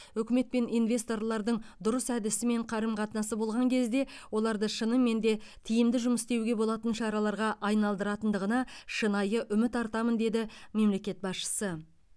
үкімет пен инвесторлардың дұрыс әдісі мен қарым қатынасы болған кезде оларды шынымен де тиімді жұмыс істеуге болатын шараларға айналдыратындығына шынайы үміт артамын деді мемлекет басшысы